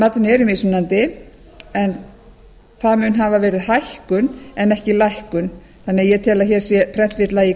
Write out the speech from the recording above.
matinu eru mismunandi en það mun hafa verið hækkun en ekki lækkun þannig að ég tel að hér sé prentvilla í